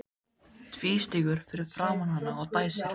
Tvístígur fyrir framan hana og dæsir.